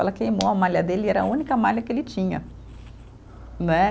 Ela queimou a malha dele e era a única malha que ele tinha. Né